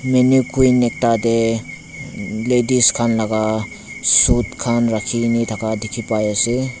maniquin ekta tae ladies khan laka suit khan rakhikaena thaka dikhipaiase.